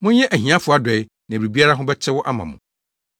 Monyɛ ahiafo adɔe na biribiara ho bɛtew ama mo.